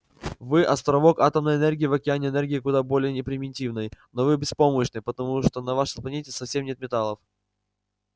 вы островок атомной энергии в океане энергии куда более не примитивной но вы беспомощны потому что на вашей планете совсем нет металлов